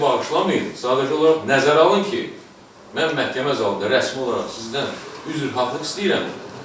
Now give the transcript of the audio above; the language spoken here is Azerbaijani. Məni bağışlamayın, sadəcə olaraq nəzərə alın ki, mən məhkəmə zalında rəsmi olaraq sizdən üzr haqlılıq istəyirəm.